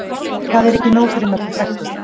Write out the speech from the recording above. Það er ekki nóg fyrir Möggu frænku